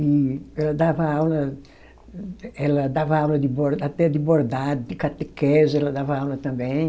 E ela dava aula, ela dava aula de bor, até de bordado, de catequese, ela dava aula também.